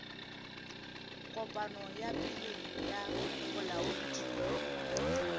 kopano ya pele ya bolaodi